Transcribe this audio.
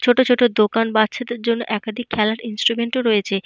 ছোট ছোট দোকান। বাচ্চাদের জন্য খেলার একাধিক ইনস্ট্রুমেন্ট ও রয়েছে।